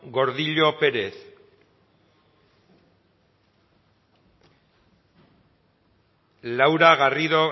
gordillo pérez laura garrido